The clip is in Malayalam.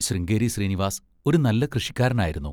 ശൃംഗേരി ശ്രീനിവാസ് ഒരു നല്ല കൃഷിക്കാരനായിരുന്നു.